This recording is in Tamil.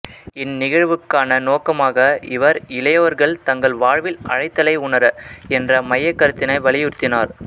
இந்நிகழ்வுக்கான நோக்கமாக இவர் இளையோர்கள் தங்கள் வாழ்வின் அழைத்தலை உணர என்ற மையக்கருத்தினை வலியுறுத்தினார்